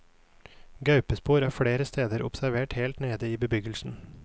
Gaupespor er flere steder observert helt nede i bebyggelsen.